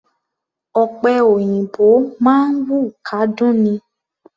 Ọ̀pẹ òyìnbó máa ń wù kádún ni.